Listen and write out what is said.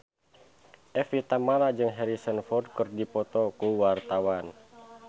Evie Tamala jeung Harrison Ford keur dipoto ku wartawan